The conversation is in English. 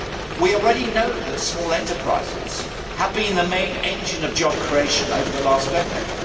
We already know that small enterprises have been the main engine of job creation over the last decade.